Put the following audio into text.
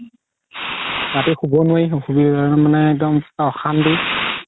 ৰাতি শুব নোৱাৰি মানে একদম অশান্তি